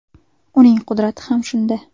Uning qudrati ham shunda.